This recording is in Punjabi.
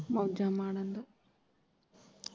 ਮੋਜਾਂ ਮਾਨਣ ਦੋ।